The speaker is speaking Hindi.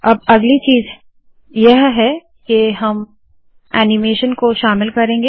अब अगली चीज़ ये है के हम ऐनीमेशन को शामिल करेंगे